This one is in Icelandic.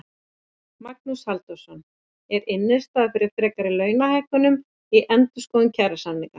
Magnús Halldórsson: Er innstaða fyrir frekari launahækkunum í endurskoðun kjarasamninga?